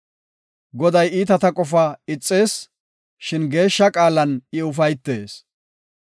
Goday iitata qofaa ixees; shin geeshsha qaalan I ufaytees.